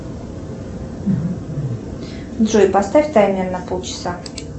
джой поставь таймер на полчаса